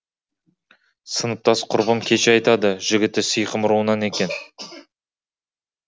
сыныптас құрбым кеше айтады жігіті сиқым руынан екен